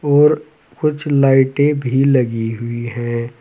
और कुछ लाइटें भी लगी हुई है।